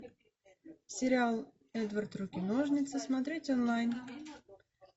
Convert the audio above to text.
сериал эдвард руки ножницы смотреть онлайн